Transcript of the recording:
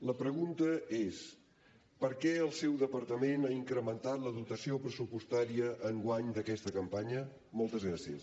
la pregunta és per què el seu departament ha incrementat la dotació pressupostària enguany d’aquesta campanya moltes gràcies